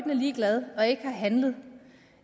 ligeglad og ikke har handlet